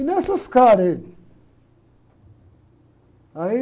E não caras aí. Aí...